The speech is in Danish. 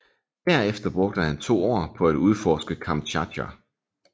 Derefter brugte han to år på at udforske Kamtjatka